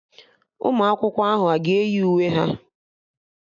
Ụmụ akwụkwọ ahụ aga eyi uwe ha?